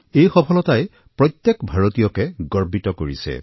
এই সফলতাই প্ৰত্যেক ভাৰতীয়কে গৰ্বিত কৰিছে